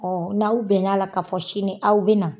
Ɔn n'aw bɛn na la ka fɔ sini k'aw be na